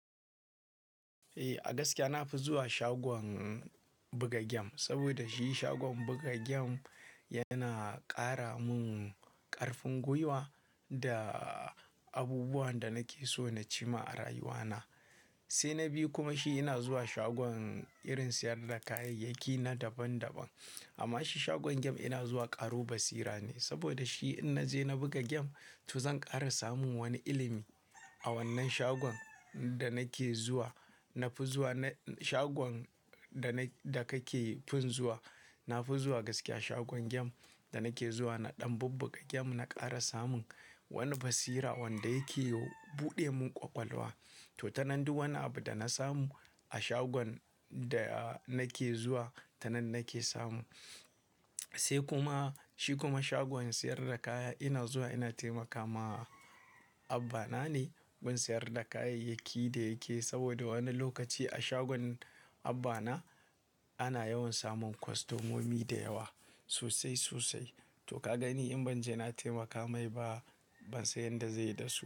Eh, a gaskiya na fi zuwa shagon buga gem saboda shi shagon buga gem yana ƙara mun ƙarfin gwiwa da abubuwan da nake so na ci ma a rayuwa na. Sai na biyu kuma shi ina zuwa shagon irin siyar da kayayyaki na daban daban. Amma shi shagon gem ina zuwa ƙaro basira ne saboda shi in naje na buga gem to zan ƙara samun wani ilimi. A wannan shagon da nake zuwa, na fi zuwa na shagon da na da ka ke fin zuwa, na fi zuwa gaskiya shagon gem da nake zuwa na ɗan buga gem na ƙara samun wani basira wanda yake buɗe mun ƙwaƙwalwa. To, tanan duk wani abu da na samu a shagon da nake zuwa tanan nake samu. Sai kuma shi kuma shagon siyar da kaya ina zuwa ina taimaka ma abba na ne gun siyar da kayayyaki da yake. Saboda wani lokaci a shagon abba na ana yawan samun kwastamomi da yawa sosai sosai. To ka gani in ban je na taimaka mai ba ban san yadda zai yi da su.